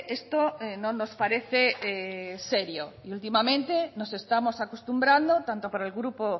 esto no nos parece serio y últimamente nos estamos acostumbrando tanto por el grupo